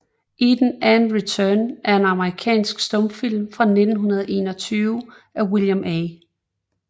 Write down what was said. Eden and Return er en amerikansk stumfilm fra 1921 af William A